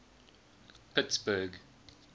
pittsburgh